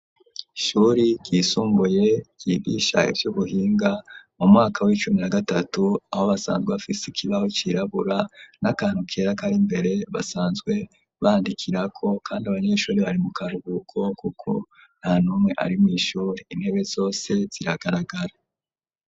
Ishuri ryisumbuye, ryigisha ivy'ubuhinga, mu mwaka, w'icumi na gatatu, aho basanzwe, bafise ikibaho, cirabura, n'akantu kera, kari mbere, basanzwe bandikirako; kandi abanyeshuri, bari mu karuhuko, kuko, nta n’umwe ari mw’ishuri, intebe zose, ziragaragara.